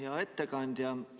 Hea ettekandja!